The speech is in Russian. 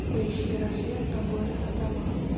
поищи рассвет на горе адама